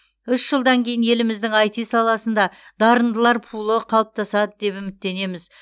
үш жылдан кейін еліміздің айти саласында дарындылар пулы қалыптасады деп үміттенеміз